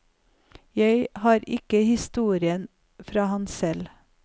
Jeg har ikke historien fra ham selv.